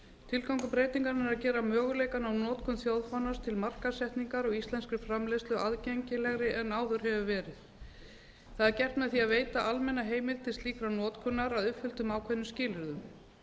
tilgangur breytingarinnar er að gera möguleikann á notkun þjóðfánans til markaðssetningar á íslenskri framleiðslu aðgengilegri en áður hefur verið það er gert með því að veita almenna heimild til slíkrar notkunar að uppfylltum ákveðnum skilyrðum